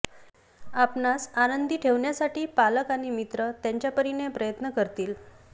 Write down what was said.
आपणास आनंदी ठेवण्यासाठी पालक आणि मित्र त्यांच्यापरीने प्रयत्न करतील